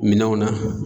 Minɛnw na